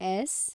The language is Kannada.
ಎಸ್